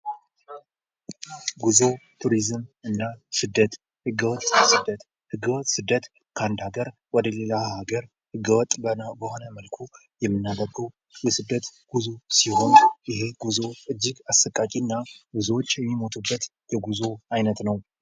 ጉዙ ቱሪዝም እና ስደት ህገ ወጥ ስደት፡ህገ ወጥ ስደት ከአንድ ሃገር ወደ ሌላ ሃገር ህገወጥ በሆነ መልኩ የምናደርገው የስደት ጉዞ ሲሆን፤ ይሄ ጉዞ እጅግ አሰቃቂ እና ብዙዎች የሚሞቱበት የጉዞ አይነት ነው።